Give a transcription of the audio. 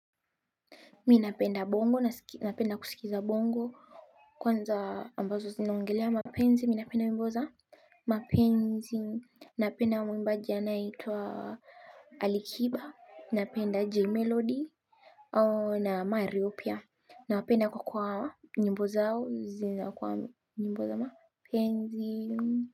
Mimi napenda bongo, napenda kusikiza bongo. Kwanza ambazo zinaongelea Mpenzi, mimi napenda wimbo za Mpenzi. Napenda muimbaji anayeitwa Alikiba. Napenda jaymelody na mario pia. Napenda kwa kuwa nyimbo zao zinakuwa nyimbo za mapenzi.